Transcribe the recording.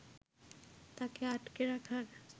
তাকে আটকে রাখার